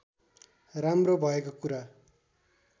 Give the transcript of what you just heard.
राम्रो भएको कुरा